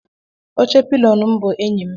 Oche pilionu m bu enyi m.